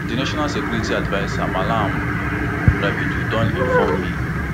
di national security adviser malam nuhu ribadu don informe me